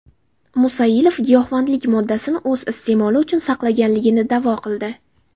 Musailov giyohvandlik moddasini o‘z iste’moli uchun saqlaganligini da’vo qildi.